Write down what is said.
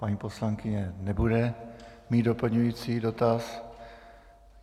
Paní poslankyně nebude mít doplňující dotaz.